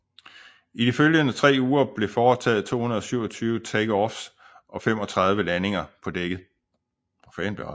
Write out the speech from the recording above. I de følgende tre uger blev foretaget 227 takeoffs og 35 landinger på dækket